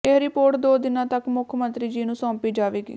ਇਹ ਰਿਪੋਰਟ ਦੋ ਦਿਨਾਂ ਤੱਕ ਮੁੱਖ ਮੰਤਰੀ ਜੀ ਨੂੰ ਸੌਂਪੀ ਜਾਵੇਗੀ